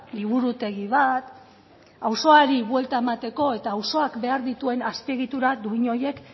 liburutegi bat auzoari buelta emateko eta auzoak behar dituen azpiegitura duin horiek